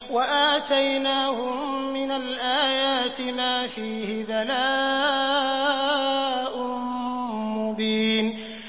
وَآتَيْنَاهُم مِّنَ الْآيَاتِ مَا فِيهِ بَلَاءٌ مُّبِينٌ